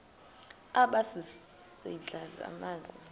aba sisidl amazimba